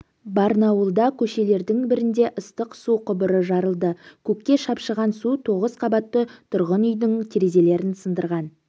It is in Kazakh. барнауылда көшелердің бірінде ыстық су құбыры жарылды көкке шапшыған су тоғыз қабатты тұрғын үйдің терезелерін сындырған